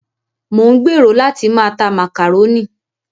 Mò ń gbèrò láti máa ta màkàrónì.